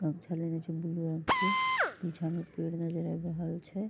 पीछा मे पेड़ नजर आब रहल छै ।